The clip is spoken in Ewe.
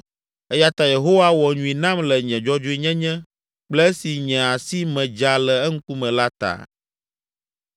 Eya ta Yehowa wɔ nyui nam le nye dzɔdzɔenyenye kple esi nye asi me dza le eŋkume la ta.